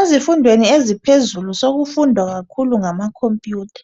Ezifundweni eziphezulu sekufundwa kakhulu ngamakhompiyutha.